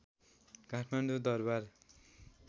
Kathmandu Durbar